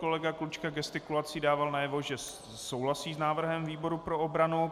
Kolega Klučka gestikulací dával najevo, že souhlasí s návrhem výboru pro obranu.